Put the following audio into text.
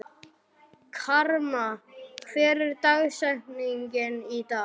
Karma, hver er dagsetningin í dag?